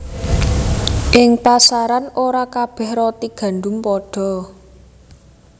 Ing pasaran ora kabéh roti gandum padha